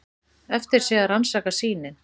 Eftir sé að rannsaka sýnin.